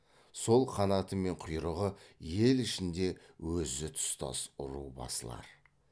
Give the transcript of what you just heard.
сол қанаты мен құйрығы ел ішінде өзі тұстас ру басылар